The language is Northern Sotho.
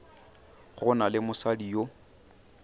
go na le mosadi yo